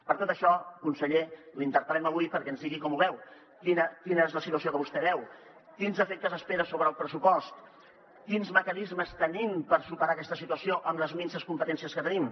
per tot això conseller l’interpel·lem avui perquè ens digui com ho veu quina és la situació que vostè veu quins efectes espera sobre el pressupost quins mecanismes tenim per superar aquesta situació amb les minses competències que tenim